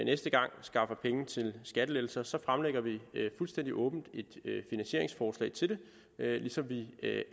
næste gang skaffer penge til skattelettelser fremlægger vi fuldstændig åbent et finansieringsforslag til det ligesom vi